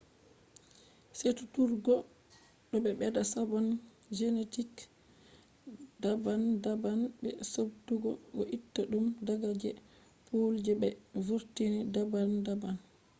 seduturgo do bedda sabon genetic daban daban be subtugo do itta dum daga je pool je be vurtini daban daban